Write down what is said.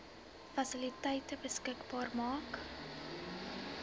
fasiliteite beskikbaar maak